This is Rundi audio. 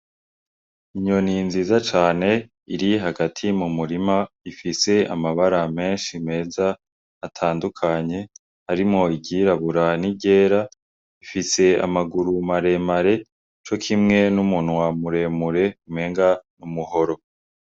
Inyoni nziza cane iri hagati mu murima ifise amabara menshi meza atandukanye arimwo igira burana iryera ifise amaguru maremare co kimwe n'umuntu wamuremure mwenga n'umuhoro.